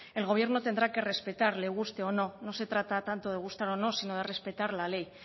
el gobierno tendrá que respetar le guste o no no se trata tanto de gustar o no sino de respetar la ley